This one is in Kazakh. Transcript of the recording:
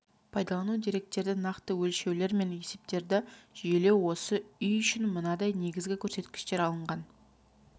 пайдалану деректерді нақты өлшеулер мен есептерді жүйелеу осы үй үшін мынадай негізгі көрсеткіштер алынған